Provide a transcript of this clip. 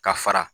Ka fara